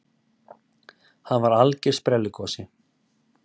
Hann var algjör sprelligosi.